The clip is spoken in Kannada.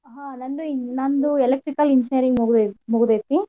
ಹಾ ನಂದು eng~ ನಂದು Electrical Engineer ಮುಗ್ದೇತ್~ ಮುಗ್ದೇತಿ.